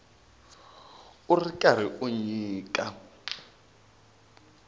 u ri karhi u nyika